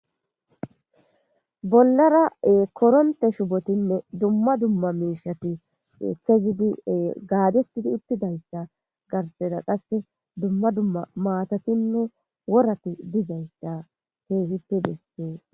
Bollara korontte shuppotine dumma dumma miiishshati keethe gidi gaagetidi utidayssa garssera qassi dumma dumma maatatinne worati dizayssa keehippe besees.